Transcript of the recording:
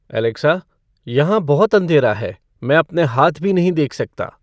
Alexa यहाँ बहुत अंधेरा है मैं अपने हाथ भी नहीं देख सकता